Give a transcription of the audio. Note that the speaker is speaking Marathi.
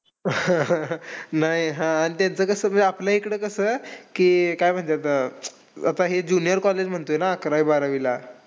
नाही हां. आणि त्यांचं कसं म्हणजे आपल्याकडे कसं की काय म्हणतात आता हे junior college म्हणतो ना अकरावी बारावीला.